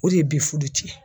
O de bi furu cɛn